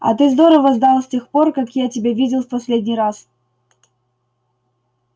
а ты здорово сдал с тех пор как я тебя видел в последний раз